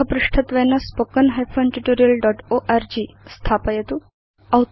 मुखपृष्ठत्वेन spoken tutorialओर्ग इति स्थापयतु